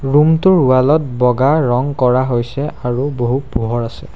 Room টোৰ wall ত বগা ৰং কৰা হৈছে আৰু বহু পোহৰ আছে।